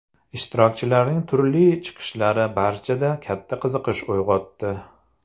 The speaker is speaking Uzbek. Ishtirokchilarning turli chiqishlari barchada katta qiziqish uyg‘otdi.